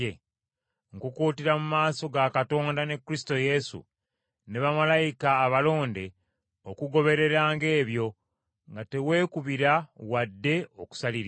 Nkukuutirira mu maaso ga Katonda ne Kristo Yesu, ne bamalayika abalonde okugobereranga ebyo, nga teweekubira wadde okusaliriza.